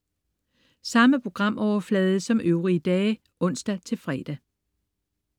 Samme programflade som øvrige dage (ons-fre)